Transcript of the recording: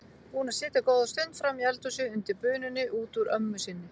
Búin að sitja góða stund frammi í eldhúsi undir bununni út úr ömmu sinni.